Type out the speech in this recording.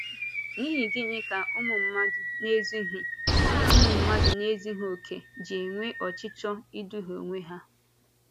N’ihi gị́nị ka ụmụ mmadụ na-ezughị ụmụ mmadụ na-ezughị okè ji enwe ọchịchọ ịdùhie onwe ha?